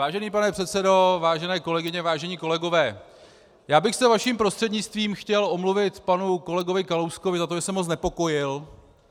Vážený pane předsedo, vážené kolegyně, vážení kolegové, já bych se vaším prostřednictvím chtěl omluvit panu kolegovi Kalouskovi za to, že jsem ho znepokojil.